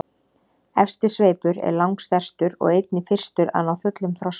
Efsti sveipur er langstærstur og einnig fyrstur að ná fullum þroska.